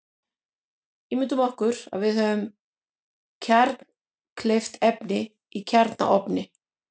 Ímyndum okkur að við höfum kjarnkleyft efni í kjarnaofni.